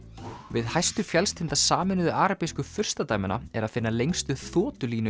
við hæstu fjallstinda Sameinuðu arabísku furstadæmanna er að finna lengstu